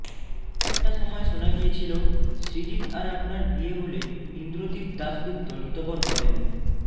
একটা সময় শোনা গিয়েছিল সৃজিত আর আপনার বিয়ে হলে ইন্দ্রদীপ দাশগুপ্ত নিতবর হবেন